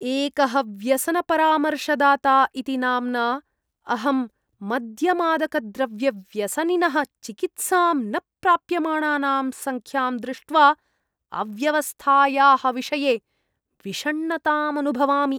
एकः व्यसनपरामर्शदाता इति नाम्ना अहं मद्यमादकद्रव्यव्यसनिनः चिकित्सां न प्राप्यमाणानां संख्यां दृष्ट्वा अव्यवस्थायाः विषये विषण्णतामनुभवामि ।